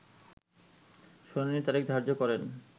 শুনানির তারিখ ধার্য করেন